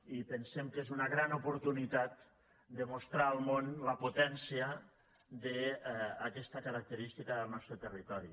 i pensem que és una gran oportunitat de mostrar al món la potència d’aquesta característica del nostre territori